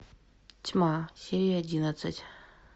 тьма серия одиннадцать